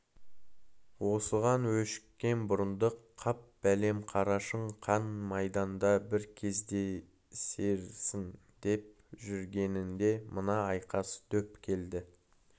осыған өшіккен бұрындық қап бәлем қарашың қан майданда бір кездесерсің деп жүргенінде мына айқас дөп келді